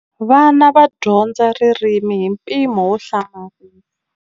Vana va dyondza ririmi hi mpimo wo hlamarisa.